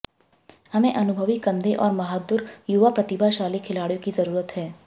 हमें अनुभवी कंधे और बहादुर युवा प्रतिभाशाली खिलाड़ियों की जरुरत है